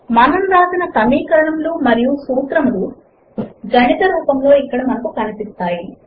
మనము వ్రాసిన సమీకరణములు మరియు సూత్రములు గణిత రూపములో ఇక్కడ మనకు కనిపిస్తాయి